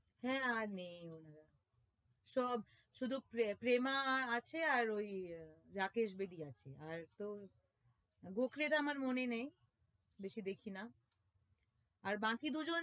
হ্যাঁ আর নেই সব শুধু প্ৰ~প্রেমা আ~আছে আর ওই আহ রাকেশ বেদি আছে আর তো গোখলের আমার মনে নেই বেশি দেখি না আর বাকি দুজন